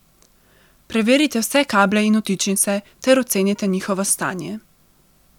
Preverite vse kable in vtičnice ter ocenite njihovo stanje.